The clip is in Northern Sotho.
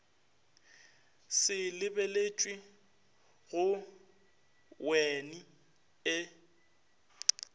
se lebeletšwe go wean e